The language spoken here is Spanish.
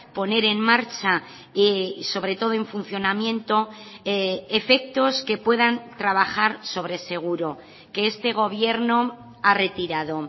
poner en marcha y sobre todo en funcionamiento efectos que puedan trabajar sobre seguro que este gobierno ha retirado